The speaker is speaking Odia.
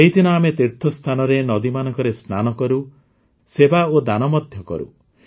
ଏହିଦିନ ଆମେ ତୀର୍ଥସ୍ଥାନରେ ନଦୀମାନଙ୍କରେ ସ୍ନାନ କରୁ ସେବା ଓ ଦାନ ମଧ୍ୟ କରୁ